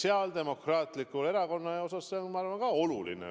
Sotsiaaldemokraatlikus Erakonnas on see, ma arvan, ka oluline.